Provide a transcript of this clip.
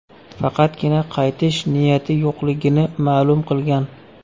Faqatgina qaytish niyati yo‘qligini ma’lum qilgan.